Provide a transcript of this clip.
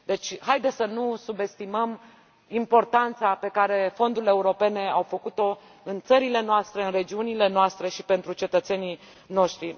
Deci, haideți să nu subestimăm importanța pe care fondurile europene au avut o în țările noastre, în regiunile noastre și pentru cetățenii noștri.